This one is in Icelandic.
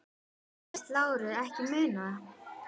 Segist Lárus ekki muna það.